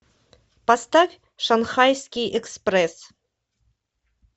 поставь шанхайский экспресс